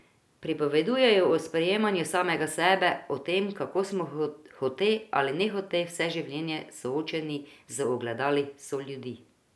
Pripoveduje o sprejemanju samega sebe, o tem, kako smo hote ali nehote vse življenje soočeni z ogledali soljudi.